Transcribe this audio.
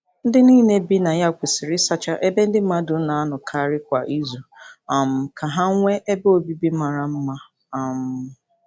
Ndị niile bi na ya kwesịrị ịsacha ebe ndị mmadụ na-anọkarị kwa izu um ka ha nwee ebe obibi mara mma. um